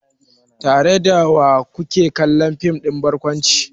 Tare da wa ku ke kallon fim ɗin barkwanci?